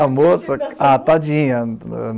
A moça... Ah, tadinha.